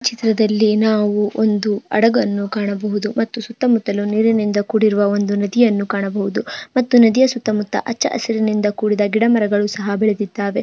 ಚಿತ್ರದಲ್ಲಿ ನಾವು ಒಂದು ಹಡಗನ್ನು ಕಾಣಬಹುದು ಮತ್ತು ಸುತ್ತಾ ಮುತ್ತಲು ನೀರಿನಿಂದ ಕೂಡಿರುವ ಒಂದು ನದಿಯನ್ನು ಕಾಣಬಹುದು ಮತ್ತು ನದಿಯ ಸುತ್ತಾ ಮುತ್ತಾ ಹಚ್ಚ ಹಸಿರಿನಿಂದ ಕೂಡಿದ ಗಿಡ ಮರಗಳು ಸಹ ಬೆಳಿದಿದಾವೆ.